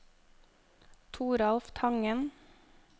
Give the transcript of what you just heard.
Toralf Tangen